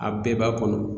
A bɛɛ b'a kɔnɔ